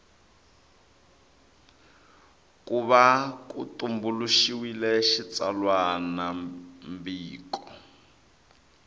ku va ku tumbuluxiwile xitsalwambiko